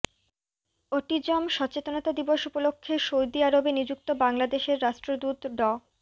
autism সচেতনতা দিবস উপলক্ষে সৌদি আরবে নিযুক্ত বাংলাদেশের রাষ্ট্রদূত ড